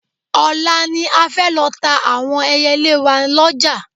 Ọ̀la ni a fẹ́ lọ ta àwọn ẹyẹlé wa lọ́jà